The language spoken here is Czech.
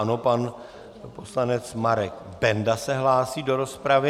Ano, pan poslanec Marek Benda se hlásí do rozpravy.